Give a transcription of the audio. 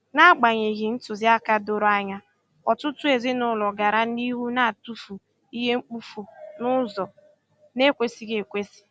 N'agbanyeghị ntụziaka doro anya, ọtụtụ ezinụlọ gara n'ihu na-atụfu ihe mkpofu n'ụzọ na-ekwesịghị ekwesị.